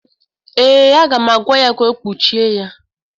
Ee, aga m agwa ya ka o kpuchie ya.